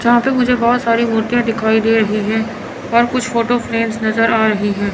जहां पे मुझे बहोत सारी मूर्तियां दिखाई दे रही है और कुछ फोटो फ्रेम नजर आ रही है।